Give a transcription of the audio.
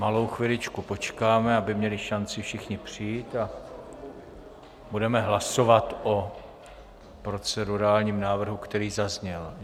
Malou chviličku počkáme, aby měli šanci všichni přijít, a budeme hlasovat o procedurálním návrhu, který zazněl.